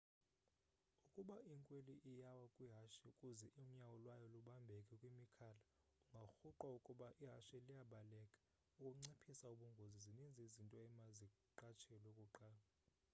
ukuba inkweli iyawa kwihashe kuze unyawo lwayo lubambeke kwimikhala, ingarhuqwa ukuba ihashe liyabaleka.ukunciphisa ubungozi zininzi izinto emaziqatshelwe kuqala